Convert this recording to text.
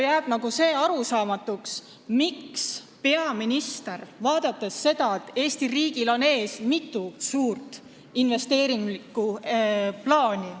Jääb arusaamatuks, miks peaminister midagi ette ei võta, vaadates seda, et Eesti riigil on ees mitu suurt investeeringuplaani.